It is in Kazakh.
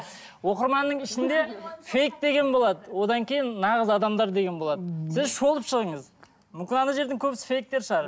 оқырманның ішінде фейк деген болады одан кейін нағыз адамдар деген болады сіз шолып шығыңыз мүмкін жердің көбісі фейктер шығар